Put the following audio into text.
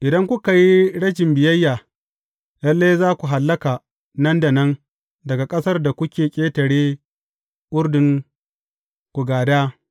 Idan kuka yi rashin biyayya, lalle za ku hallaka nan da nan daga ƙasar da kuke ƙetare Urdun ku gāda.